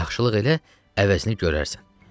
Yaxşılıq elə əvəzini görərsən.